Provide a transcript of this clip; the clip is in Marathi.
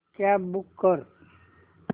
कॅब बूक कर